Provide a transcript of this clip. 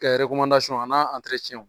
Kɛ a n'an